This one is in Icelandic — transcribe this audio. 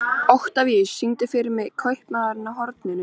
Oktavíus, syngdu fyrir mig „Kaupmaðurinn á horninu“.